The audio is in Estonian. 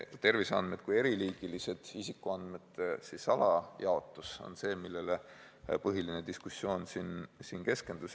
Terviseandmed kui eriliigilised isikuandmed on need, millele põhiline diskussioon siin keskendus.